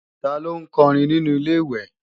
Ta ló ń kọrin nínu Ilé-ìwẹ̀